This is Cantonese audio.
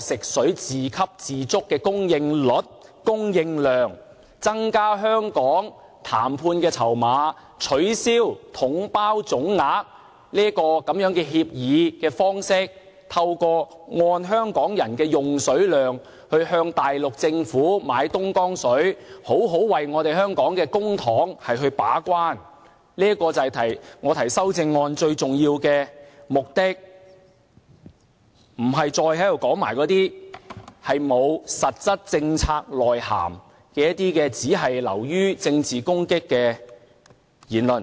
食水自給自足的供應率和供應量，增加香港的談判籌碼，取消統包總額的協議方式，透過按香港人的用水量，向大陸政府買東江水，為香港的公帑好好把關，這就是我提出修正案最重要的目的，而不是說那些沒有實質政策內涵、流於政治攻擊的言論。